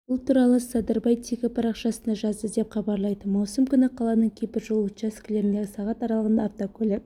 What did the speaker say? бұл туралы садырбай тегі парақшасында жазды деп хабарлайды маусым күні қаланың кейбір жол учаскелерінде сағат аралығында автокөлік